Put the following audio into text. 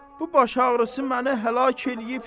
bu başağrısı məni həlak eləyib.